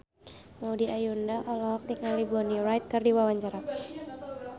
Maudy Ayunda olohok ningali Bonnie Wright keur diwawancara